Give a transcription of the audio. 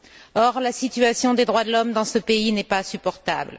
Or, la situation des droits de l'homme dans ce pays n'est pas supportable.